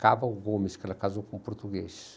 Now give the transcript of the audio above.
Caval Gomes, que ela casou com um português.